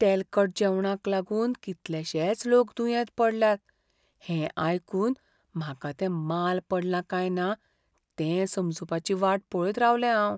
तेलकट जेवणाक लागून कितलेशेच लोक दुयेंत पडल्यात हें आयकून म्हाका तें माल पडलां काय ना तें समजुपाची वाट पळयत रावलें हांव.